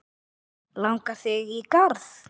Langar þig í garð?